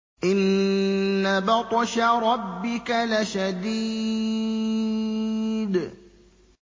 إِنَّ بَطْشَ رَبِّكَ لَشَدِيدٌ